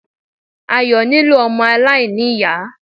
Ayọ̀ nílò ọmọ aláìní-Ìyá.